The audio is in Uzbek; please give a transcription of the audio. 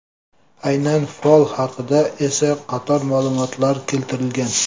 Aynan fol haqida esa qator ma’lumotlar keltirilgan.